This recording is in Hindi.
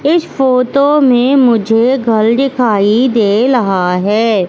इस फोटो में मुझे घल दिखाई दे लहा है।